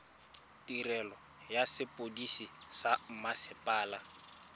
tirelo ya sepodisi sa mmasepala